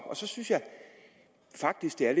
og så synes jeg faktisk det er